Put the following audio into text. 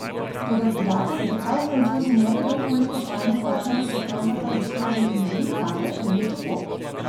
Toda podatek, da prav Francozi ne vedo, koliko spolnih partnerjev so pravzaprav doslej že imeli, kaže, da ni tako.